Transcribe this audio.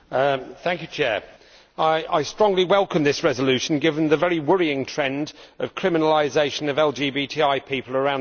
Mr President, I strongly welcome this resolution, given the very worrying trend of the criminalisation of LGBTI people around the world.